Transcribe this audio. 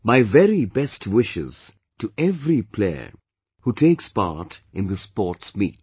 My very best wishes to every player who takes part in this sports meet